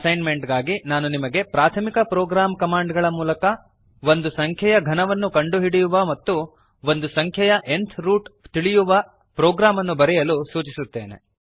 assign made ಗಾಗಿ ನಾನು ನಿಮಗೆ ಪ್ರಾಥಮಿಕ ಪ್ರೋಗ್ರಾಂ ಕಮಾಂಡ್ ಗಳ ಮೂಲಕ ಒಂದು ಸಂಖ್ಯೆಯ ಘನವನ್ನು ಕಂಡುಹಿಡಿಯುವ ಮತ್ತು ಒಂದು ಸಂಖ್ಯೆಯ ನ್ತ್ ರೂಟ್ ತಿಳಿಯುವ ಪ್ರೋಗ್ರಾಂ ಅನ್ನು ಬರೆಯಲು ಸೂಚಿಸುತ್ತೇನೆ